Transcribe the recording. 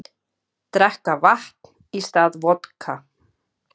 Drekka vatn í stað vodka